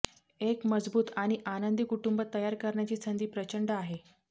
एक मजबूत आणि आनंदी कुटुंब तयार करण्याची संधी प्रचंड आहे